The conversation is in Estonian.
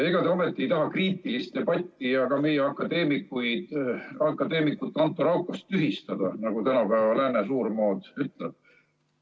Ega te ometi ei taha kriitilist debatti ja meie akadeemikut Anto Raukast tühistada, nagu tänapäeva lääne suurmood ütleb?